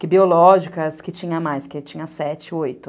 Que biológicas, que tinha mais, que tinha sete, oito.